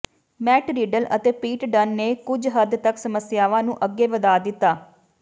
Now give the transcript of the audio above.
mat Riddell ਅਤੇ Pete Dunn ਨੇ ਕੁਝ ਹੱਦ ਤਕ ਸਮੱਸਿਆਵਾਂ ਨੂੰ ਅੱਗੇ ਵਧਾ ਦਿੱਤਾ